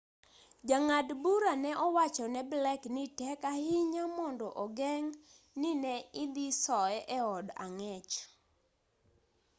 jang'ad bura ne owacho ne blake ni tek ahinya mondo ogeng' ni ne idhi soye eod ang'ech